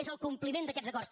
és el compliment d’aquests acords